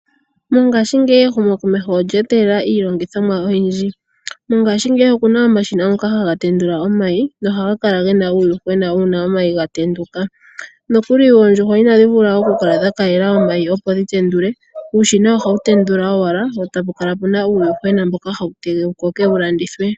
Mongashingeyi ehumokomeho olya etela iilongithomwa oyindji. Mongashingeyi okuna omashina ngoka haga tendula omayi nohaga kala gena uuyuhwena uuna omayi ga tenduka. Nokuli oondjuhwa ina dhi vula oku kala dha kalela omayi opo dhi tendule uushina ohawu tendula owala wo tapu kala puna uuyuhwena mboka hawu tege wu koke wu landithwe.